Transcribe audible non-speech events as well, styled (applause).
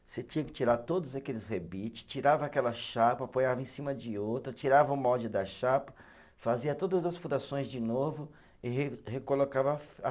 Você tinha que tirar todos aqueles rebite, tirava aquela chapa, ponhava em cima de outra, tirava o molde da chapa, fazia todas as furações de novo e recolocava a (unintelligible)